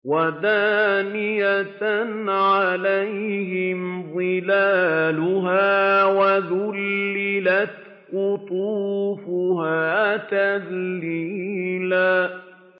وَدَانِيَةً عَلَيْهِمْ ظِلَالُهَا وَذُلِّلَتْ قُطُوفُهَا تَذْلِيلًا